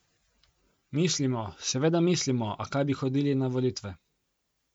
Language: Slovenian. Mislimo, seveda mislimo, a kaj bi hodili na volitve!